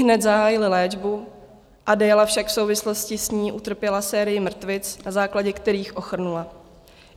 Ihned zahájili léčbu, Adéla však v souvislosti s ní utrpěla sérii mrtvic, na základě kterých ochrnula.